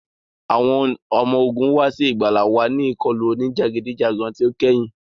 Awọn ọmọ ogun wa si igbala wa ni ikọlu onijagidijagan ti o kẹhin.